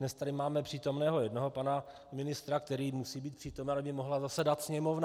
Dnes tady máme přítomného jednoho pana ministra, který musí být přítomen, aby mohla zasedat Sněmovna.